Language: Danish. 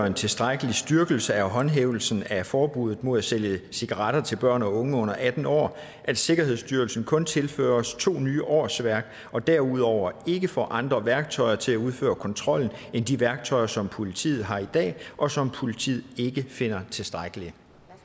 en tilstrækkelig styrkelse af håndhævelsen af forbuddet mod at sælge cigaretter til børn og unge under atten år at sikkerhedsstyrelsen kun tilføres to nye årsværk og derudover ikke får andre værktøjer til at udføre kontrollen end de værktøjer som politiet har i dag og som politiet ikke finder tilstrækkelige